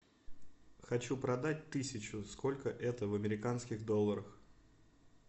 хочу продать тысячу сколько это в американских долларах